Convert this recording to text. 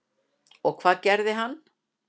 Og hvað gerði hann?